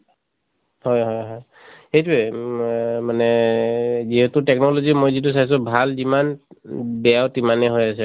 হয় হয় হয় । সেইটোয়ে ম মানে এহ যিহেতু technology মই যিটো চাইছো ভাল যিমান উম বেয়াও তিমানে হৈ আছে।